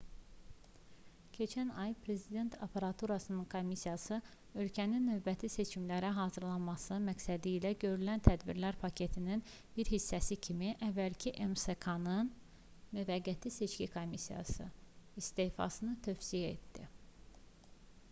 keçən ay prezident aparaturasının komissiyası ölkənin növbəti seçimlərə hazırlanması məqsədilə görülən tədbirlər paketinin bir hissəsi kimi əvvəlki msk-nın müvəqqəti seçki komissiyası istefasını tövsiyə etdi